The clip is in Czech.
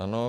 Ano.